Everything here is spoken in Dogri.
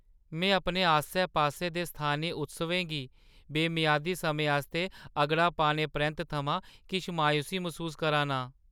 में अपने आस्सै-पास्सै दे स्थानी उत्सवें गी बेमियादे समें आस्तै अगड़ा पाने परैंत्त थमां किश मायूसी मसूस करा ना आं।